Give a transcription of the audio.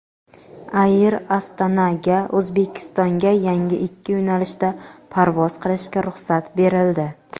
"Air Astana"ga O‘zbekistonga yana ikki yo‘nalishda parvoz qilishga ruxsat berildi.